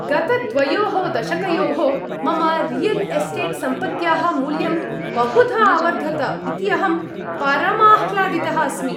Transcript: गत द्वयोः दशकयोः मम रियल् एस्टेट् सम्पत्त्याः मूल्यं बहुधा अवर्धत इति अहं परमाह्लादितः अस्मि।